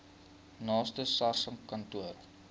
naaste sars kantoor